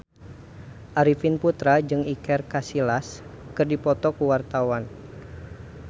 Arifin Putra jeung Iker Casillas keur dipoto ku wartawan